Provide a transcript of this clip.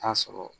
Taa sɔrɔ